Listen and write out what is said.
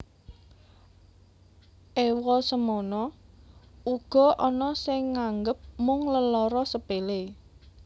Ewa semono uga ana sing nganggep mung lelara sepele